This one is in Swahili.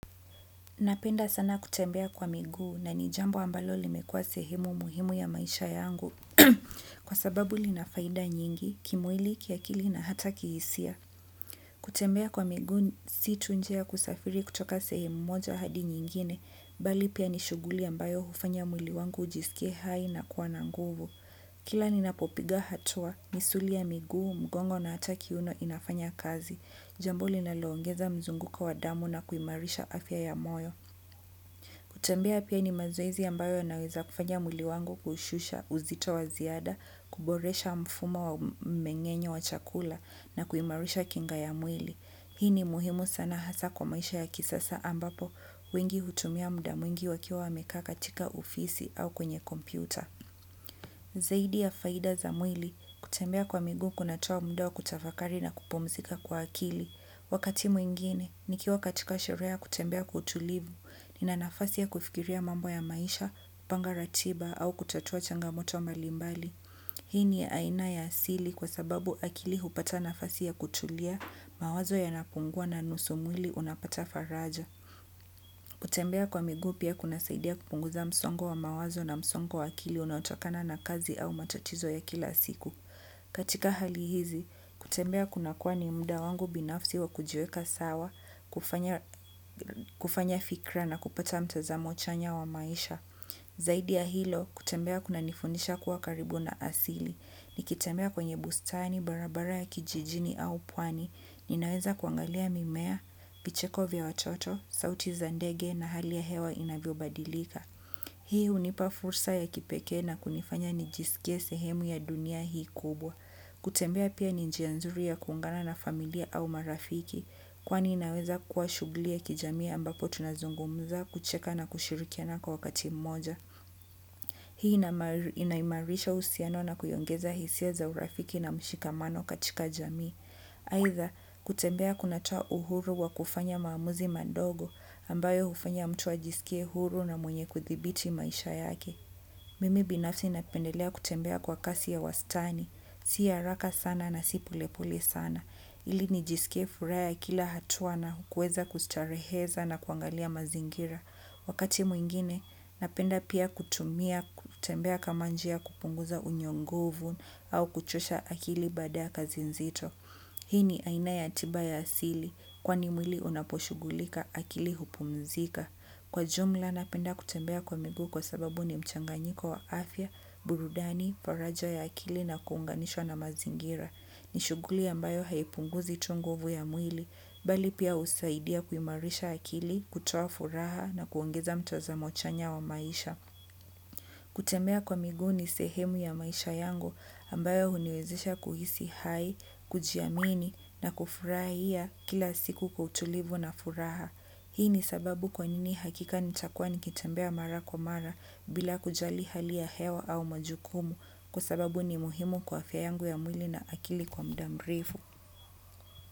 Napenda sana kutembea kwa miguu na nijambo ambalo limekua sehemu muhimu ya maisha yangu. Kwa sababu linafaida nyingi, kimwili kiakili na hata kihisia. Kutembea kwa miguu si tu njia ya kusafiri kutoka sehemu moja hadi nyingine, bali pia nishuguli ambayo hufanya mwili wangu hujisikie hai na kuwa na nguvu. Kila nina popiga hatua, misuli ya miguu mgongo na hata kiuno inafanya kazi. Jambo linalongeza mzunguko wadamu na kuimarisha afya ya moyo. Kutembea pia ni mazoezi ambayo naweza kufanya mwili wangu kushusha uzito waziada, kuboresha mfuma wa mmengenyo wa chakula na kuimarisha kinga ya mwili. Hii ni muhimu sana hasa kwa maisha ya kisasa ambapo, wengi hutumia mda mwingi wakiwa wameka katika ofisi au kwenye kompyuta. Zaidi ya faida za mwili, kutembea kwa miguu kunatoa mda wa kutafakari na kupumzika kwa akili. Wakati mwingine, nikiwa katika sherehe ya kutembea kwa utulivu, nina nafasi ya kufikiria mambo ya maisha, panga ratiba au kutatua changamoto malimbali. Hii ni aina ya asili kwa sababu akili hupata nafasi ya kutulia, mawazo ya napungua na nusumwili unapata faraja. Kutembea kwa miguu pia kuna saidia kupunguza msongo wa mawazo na msongo wa akili unaotokana na kazi au matatizo ya kila siku. Katika hali hizi, kutembea kuna kuwa ni mda wangu binafsi wa kujiweka sawa, kufanya fikra na kupata mtazamo chanya wa maisha. Zaidi ya hilo, kutembea kuna nifundisha kuwa karibu na asili. Nikitembea kwenye bustani, barabara ya kijijini au pwani, ninaweza kuangalia mimea, vicheko vya watoto, sauti za ndege na hali ya hewa inavyo badilika. Hii hunipa fursa ya kipekee na kunifanya nijisikie sehemu ya dunia hii kubwa. Kutembea pia ni njia nzuri ya kuungana na familia au marafiki, kwani inaweza kuwa shughli ya kijami ambapo tunazungumza kucheka na kushirikiana kwa wakati mmoja. Hii inaimarisha uhusiano na kuiongeza hisia za urafiki na mshikamano katika jamii. Haitha, kutembea kunatoa uhuru wa kufanya maamuzi madogo ambayo hufanya mtu ajisikie huru na mwenye kuthibiti maisha yake. Mimi binafsi napendelea kutembea kwa kasi ya wastani, siya haraka sana na si polepole sana. Ili nijisikie furaha ya kila hatua na kuweza kustareheza na kuangalia mazingira. Wakati mwingine, napenda pia kutumia kutembea kamanjia kupunguza unyonguvu au kuchosha akili baada ya kazi nzito. Hini aina yatiba ya asili kwani mwili unaposhugulika akili hupumzika. Kwa jumla napenda kutembea kwa miguu kwa sababu ni mchanganyiko wa afya, burudani, faraja ya akili na kuunganishwa na mazingira. Ni shuguli ambayo haipunguzi tu nguvu ya mwili, bali pia husaidia kuimarisha akili, kutoa furaha na kuongeza mtazamo chanya wa maisha. Kutembea kwa miguni sehemu ya maisha yangu ambayo huniwezesha kuhisi hai, kujiamini na kufurahia kila siku kwautulivu na furaha. Hii ni sababu kwa nini hakika nitakuwa nikitembea mara kwa mara bila kujali hali ya hewa au majukumu kwasababu ni muhimu kwa fya yangu ya mwili na akili kwa mda mrefu.